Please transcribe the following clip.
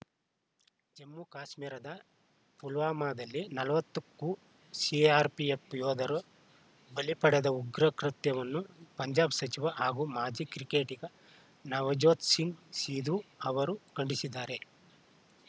ಜಮ್ಮುಕಾಶ್ಮೀರದ ಪುಲ್ವಾಮಾದಲ್ಲಿ ನಲವತ್ತಕ್ಕೂ ಸಿಆರ್‌ಪಿಎಫ್‌ ಯೋಧರ ಬಲಿ ಪಡೆದ ಉಗ್ರ ಕೃತ್ಯವನ್ನು ಪಂಜಾಬ್‌ ಸಚಿವ ಹಾಗೂ ಮಾಜಿ ಕ್ರಿಕೆಟಿಗ ನವಜೋತ್‌ ಸಿಂಗ್‌ ಸಿಧು ಅವರು ಖಂಡಿಸಿದ್ದಾರೆ